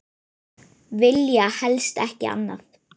Vilja helst ekki annað.